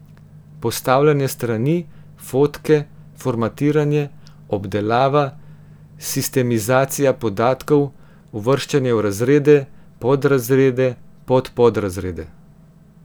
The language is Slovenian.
Postavljanje strani, fotke, formatiranje, obdelava, sistemizacija podatkov, uvrščanje v razrede, podrazrede, podpodrazrede.